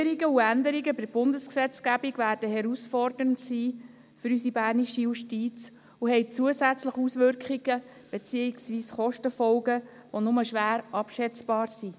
Neuerungen und Änderungen bei der Bundesgesetzgebung werden für unsere bernische Justiz herausfordernd sein und haben zusätzliche Auswirkungen beziehungsweise Kostenfolgen, die nur schwer abschätzbar sind.